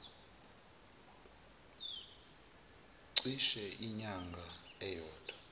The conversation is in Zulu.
cishe inyanga eyodwa